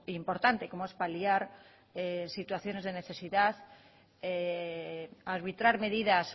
importante como es paliar situaciones de necesidad arbitrar medidas